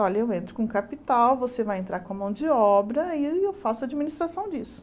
Olha, eu entro com capital, você vai entrar com a mão de obra e aí eu faço a administração disso.